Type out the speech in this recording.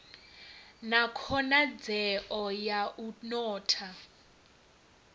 na khonadzeo ya u notha